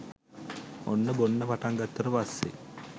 ඔන්න බොන්න පටන් ගත්තට පස්සෙ